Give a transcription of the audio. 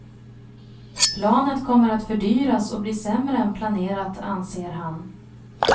Planet kommer att fördyras och bli sämre än planerat, anser han.